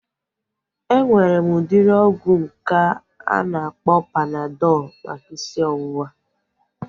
Enwere m udịri ọgwụ nke a na-akpọ Panadọl maka isi ọwụwa